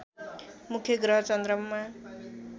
मुख्य ग्रह चन्द्रमा